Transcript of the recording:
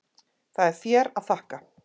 Það er þér að þakka.